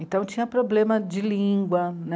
Então, tinha problema de língua né.